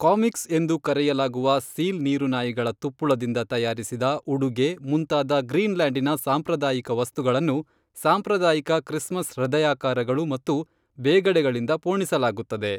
comics ಎಂದು ಕರೆಯಲಾಗುವ seal ನೀರುನಾಯಿಗಳ ತುಪ್ಪುಳದಿಂದ ತಯಾರಿಸಿದ ಉಡುಗೆ ಮುಂತಾದ ಗ್ರೀನ್ಲ್ಯಾಂಡಿನ ಸಾಂಪ್ರದಾಯಿಕ ವಸ್ತುಗಳನ್ನು ಸಾಂಪ್ರದಾಯಿಕ ಕ್ರಿಸ್ಮಸ್ ಹೃದಯಾಕಾರಗಳು ಮತ್ತು ಬೇಗಡೆಗಳಿಂದ ಪೋಣಿಸಲಾಗುತ್ತದೆ